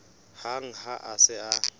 hang ha a se a